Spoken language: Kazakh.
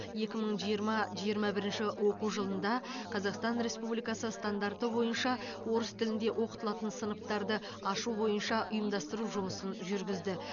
екі мың жиырма жиырма бірінші оқу жылында қазақстан республикасы стандарты бойынша орыс тілінде оқытылатын сыныптарды ашу бойынша ұйымдастыру жұмысын жүргізді